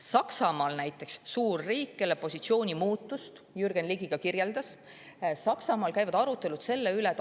Saksamaal näiteks – suur riik, kelle positsiooni muutust Jürgen Ligi kirjeldas – arutelud selle üle käivad.